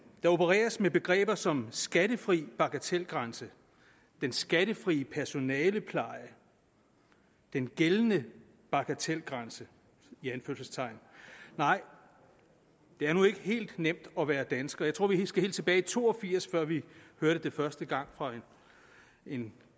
der opereres med begreber som skattefri bagatelgrænse den skattefri personalepleje den gældende bagatelgrænse i anførselstegn nej det er nu ikke helt nemt at være dansker jeg tror at vi skal helt tilbage to og firs før vi hørte det første gang fra en